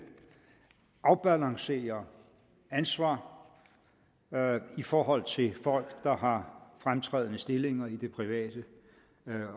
afbalancerer ansvar i forhold til folk der har fremtrædende stillinger i det private